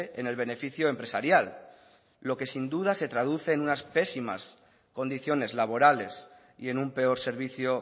en el beneficio empresarial lo que sin duda se traduce en unas pésimas condiciones laborales y en un peor servicio